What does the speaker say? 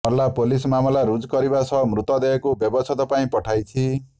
Narla police ମାମଲା ରୁଜୁ କରିବା ସହ ମୃତଦେହକୁ ବ୍ୟବଛେଦ ପାଇଁ ପଠାଇଛି